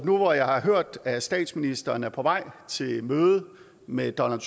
nu hvor jeg har hørt at statsministeren er på vej til møde med donald